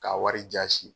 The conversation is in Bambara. K'a wari jasi